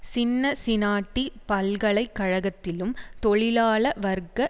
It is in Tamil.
சின்னசினாட்டி பல்கலை கழகத்திலும் தொழிலாள வர்க்க